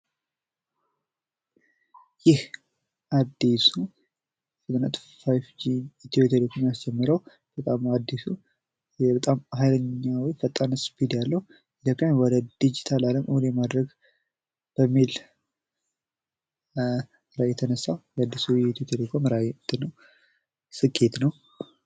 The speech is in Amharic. ይህ አዲሱ የ5 ጂ ኢትዮቴሌኮም ያስጀመረዉ በጣም አዲሱ በጣም ሀይለኛ ፈጣን ስፒድ ያለዉ ኢትዮጵያን ወደ ዲጂታል አለም እዉን የማድረግ በሚል የተነሳ የአዲሱ ኢትዮቴሌኮም ራዕይ ስኬት ነዉ።